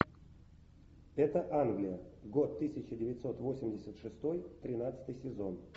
это англия год тысяча девятьсот восемьдесят шестой тринадцатый сезон